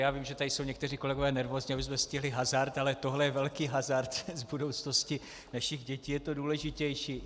Já vím, že tady jsou někteří kolegové nervózní, abychom stihli hazard, ale tohle je velký hazard s budoucností našich dětí, je to důležitější.